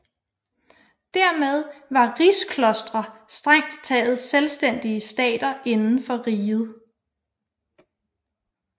Dermed var rigsklostre strengt taget selvstændige stater inden for riget